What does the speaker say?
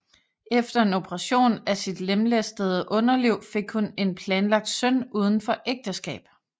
Efter en operation af sit lemlæstede underliv fik hun en planlagt søn uden for ægteskab